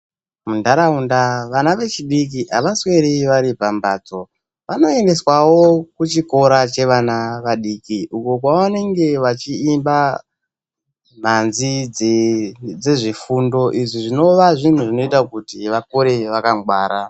Munharaunda vana vechidiki havasweri vari pamhatso. Vanoendeswawo kuchikora chevana vadiki, uko kwavanenge vachiimba mhanzi dzezvefundo izvi zvinova zvinhu zvinoita kuti vakure vakangwara.